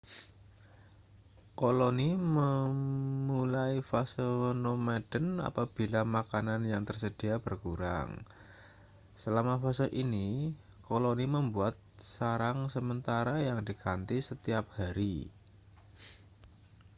koloni memulai fase nomaden apabila makanan yang tersedia berkurang selama fase ini koloni membuat sarang sementara yang diganti setiap hari